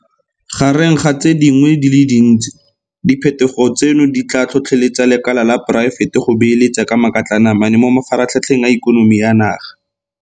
Gareng ga tse dingwe di le dintsi, diphetogo tseno di tla tlhotlheletsa lekala la poraefete go beeletsa ka makatlanamane mo mafaratlhatlheng a ikonomi ya naga.